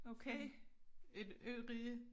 Okay et ørige